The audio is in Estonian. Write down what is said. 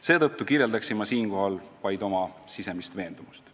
Seetõttu kirjeldaksin siinkohal vaid oma sisemist veendumust.